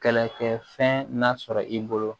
Kɛlɛkɛfɛn nasɔrɔ i bolo